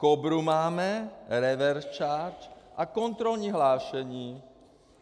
Kobru máme, reverse charge a kontrolní hlášení.